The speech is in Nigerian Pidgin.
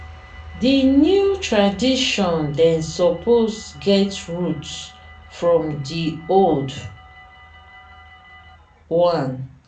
di new tradition dem suppose get root from di old one.